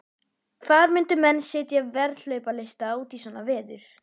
Hvar myndu menn setja veðhlaupahesta út í svona veður?